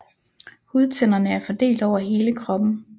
Hudtænderne er fordelt over hele kroppen